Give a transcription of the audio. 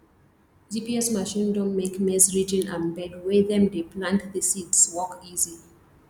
gps machine don make maize ridging and bed wey them dey plant the seeds work easy